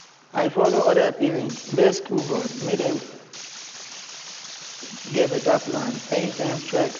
i follow other parents beg school board make dem get better plan anytime strike happen. happen.